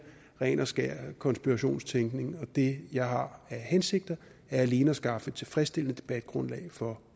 ren og skær konspirationstænkning og det jeg har af hensigter er alene at skaffe tilfredsstillende debatgrundlag for